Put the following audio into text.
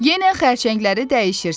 Yenə xərçəngləri dəyişirsiz.